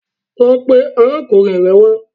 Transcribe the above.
Lọ pe arákùnrin rẹ wá